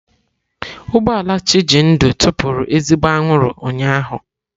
Ụgbọ ala Chijindu tụpụrụ ezigbo anwụrụ ụnyahụ.